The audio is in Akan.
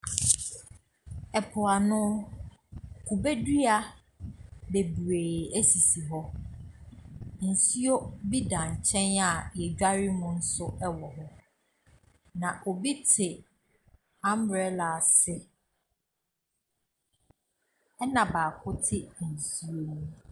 Ɛpo ano kube dua bebiri sisi hɔ nsuo bi da nkyɛn a yɛ dware mu nso wɔhɔ na obi te umbrella asi ɛna baako te nsuo no mu.